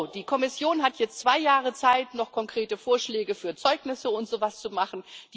Die Kommission hat jetzt zwei Jahre Zeit, noch konkrete Vorschläge für Zeugnisse und so was zu machen.